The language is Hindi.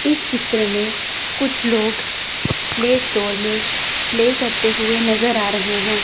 इस चित्र में कुछ लोग प्ले स्टोर में प्ले करते हुए नजर आ रहे हैं।